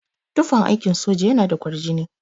Tufan aikin soja yana da kwarjini.